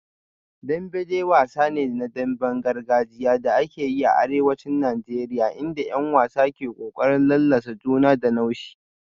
Dembe dai wasa ne na damben gargajiya da ake yi a arewacin Najeriya inda 'yan wasa ke kokarin lallasa juna da naushi